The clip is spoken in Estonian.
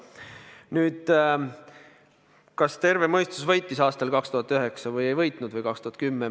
Nüüd, kas terve mõistus võitis aastal 2009 või 2010?